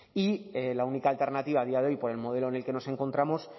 y la única alternativa a día de hoy por el modelo en el que nos encontramos